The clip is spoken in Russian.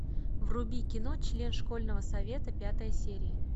вруби кино член школьного совета пятая серия